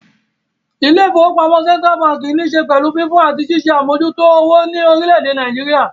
Ilé-ìfowópamọ́sí Central ní ṣe pẹ̀lú fífún àti ṣíṣe àmójútó owó ní orílé èdè Nàìjíríà